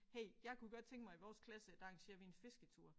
Hey jeg kunne godt tænke mig i vores klasse at der arrangerer vi en fisketur